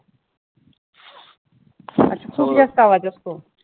अच्छा खूप जास्त आवाज असतो.